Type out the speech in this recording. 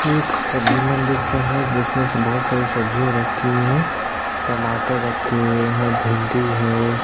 एक सब्जी मंडी का है जिसमें बहोत सारी सब्जी रखी हुए है टमाटर रखे हुए है भिन्डी है।